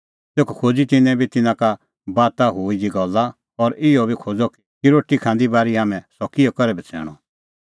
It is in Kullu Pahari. तेखअ खोज़ी तिन्नैं बी तिन्नां का बाता हुई दी गल्ला और इहअ बी खोज़अ कि रोटी खांदी बारी हाम्हैं सह किअ करै बछ़ैणअ